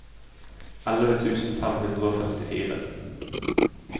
elleve tusen fem hundre og førtifire